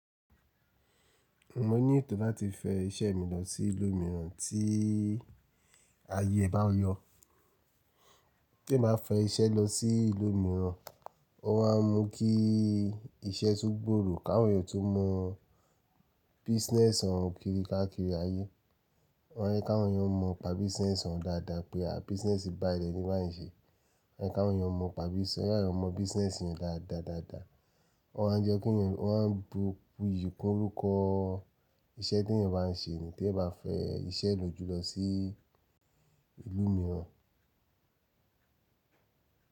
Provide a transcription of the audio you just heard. Mo ní ètò láti fẹ iṣẹ́ mi lọ sí ìlú mìíràn tí ayé bá yọ. Bí n bá fẹ́ iṣẹ́ lọ sí ìlú mìíràn, ọ wá mú kí iṣẹ́ tún gbọ̀ro, káwọn èyàn tun mọ business wọn kiri káàkiri ayé. Wọ́n yẹ káwọn èyàn mọ ni pa business wọn dáadáa pé àh business báyii leni bayi ń ṣe. Ehn yẹ ká awọn èyàn mọ pa business, ka awon yẹ káwọn èyàn mọ business yen dáadáadáa. Wọ́n a jẹ́ ke eniyàn, wọ́n a bu iyì kún orúkọ o iṣẹ́ te yàn bá ń ṣe ni te èyàn bá fẹ́ iṣẹ́ lò jùlọ sí ìlú mìíràn.